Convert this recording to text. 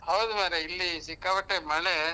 ಹೌದ್ ಮಾರ್ರೇ ಇಲ್ಲಿ ಸಿಕ್ಕಾಪಟ್ಟೆ ಮಳೇ.